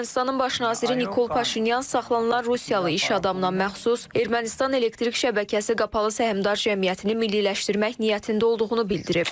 Ermənistanın baş naziri Nikol Paşinyan saxlanılan rusiyalı iş adamına məxsus Ermənistan Elektrik Şəbəkəsi Qapalı Səhmdar Cəmiyyətini milliləşdirmək niyyətində olduğunu bildirib.